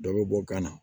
Dɔ bɛ bɔ kan na